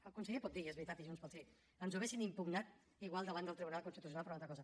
el conseller pot dir i és veritat i junts pel sí ens ho haurien impugnat igual davant del tribunal constitucional per una altra cosa